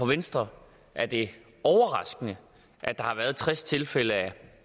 venstre er det overraskende at der har været tres tilfælde af